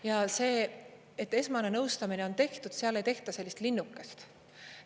Ja see, et esmane nõustamine on tehtud, seal ei tehta sellist linnukest.